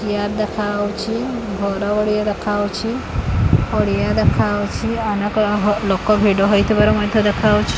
chair ଦେଖାହଉଛି ଘର ଗୁଡିକ ଦେଖାହଉଛି ପଡିଆ ଦେଖାହଉଛି ଅନେକ ଅ ହ ଲୋକ ଭିଡ ହେଇଥିବାର ମଧ୍ଯ ଦେଖାହଉଛ --